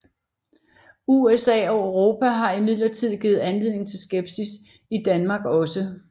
USA og Europa har imidlertid givet anledning til skepsis i Danmark også